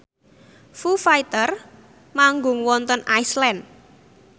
Foo Fighter manggung wonten Iceland